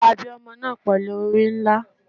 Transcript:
A bi omo naa pelu ori nla